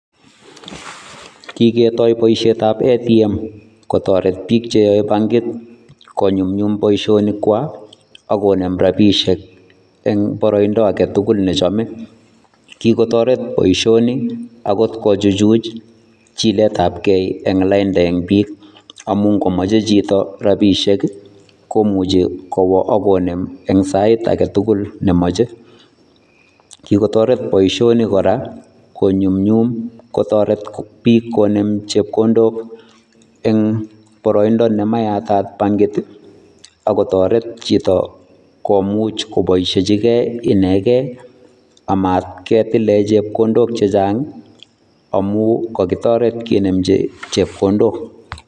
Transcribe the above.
kigetoi boisiet ab ATM kotoret biik cheyoe bankit, konyumyum boisionikwa ak konem rabishiek en boroindo agetugun nechome, kigotoret boishioni agot kochuchuj jiletabge eng lainda en biik amun komoche jito rabishiek i komuche kowoak konem en sait agetugul nemoche, kigotoret boishionik kora konyumyum kotoret biik konem chebkondok eng boroindo nemayatat bangiik, ak kotoret jito komuch koboishiejigein enegen amatketilen chebkondok chejang amun kogitoret kinemji chepkondok.